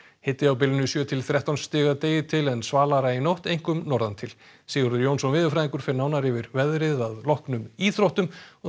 hiti á bilinu sjö til þrettán stig að degi til en svalara í nótt einkum norðan til Sigurður Jónsson veðurfræðingur fer nánar yfir veðrið að loknum íþróttum